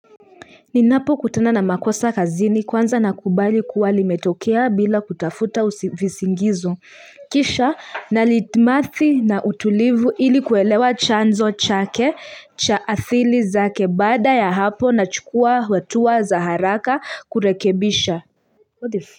Ninapokutana na makosa kazini kwanza nakubali kuwa limetokea bila kutafuta visingizo Kisha nalitmathi na utulivu ili kuelewa chanzo chake cha asili zake baada ya hapo nachukua hatua za haraka kurekebisha.